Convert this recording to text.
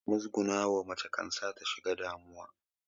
Muzgunawa mace kan sa ta shiga damuwa